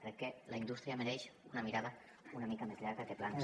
crec que la indústria mereix una mirada una mica més llarga que plans